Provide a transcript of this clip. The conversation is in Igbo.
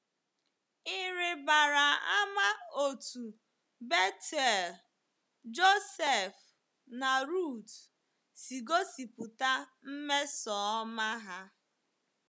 Ị̀ rịbara ama otú Bethuel, Joseph, na Ruth si gosipụta mmesoọma ha?